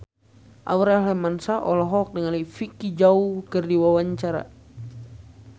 Aurel Hermansyah olohok ningali Vicki Zao keur diwawancara